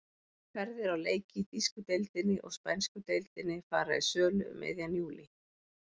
Ferðir á leiki í þýsku deildinni og spænsku deildinni fara í sölu um miðjan júlí.